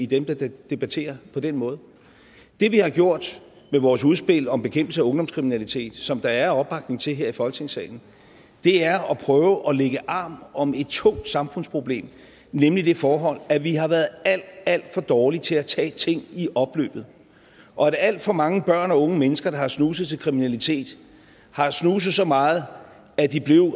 dem der debatterer på den måde det vi har gjort med vores udspil om bekæmpelse af ungdomskriminalitet som der er opbakning til her i folketingssalen er at prøve at lægge arm om et tungt samfundsproblem nemlig det forhold at vi har været alt alt for dårlige til at tage ting i opløbet og at alt for mange børn og unge mennesker der har snuset til kriminalitet har snuset så meget at de